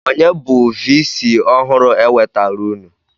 Onye bụ vii sii ọhụrụ e wetaara unu?